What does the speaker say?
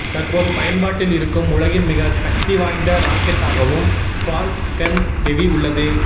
தற்போது பயன்பாட்டில் இருக்கும் உலகின் மிக சக்தி வாய்ந்த ராக்கெட்டாகவும் ஃபால்கன் ஹெவி உள்ளது